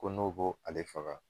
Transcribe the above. Ko n'o bo ale faga